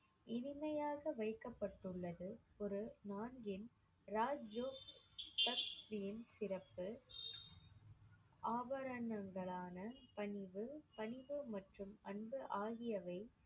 இனிமையாக வைக்கப்பட்டுள்ளது ஒரு ராஜ் ஜோக் சிறப்பு ஆபரணங்களான பணிவு, பணிவு மற்றும் அன்பு ஆகியவை